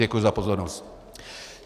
Děkuji za pozornost.